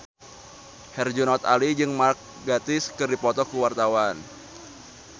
Herjunot Ali jeung Mark Gatiss keur dipoto ku wartawan